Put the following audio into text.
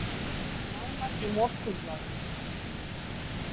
Nánar í Morgunblaðinu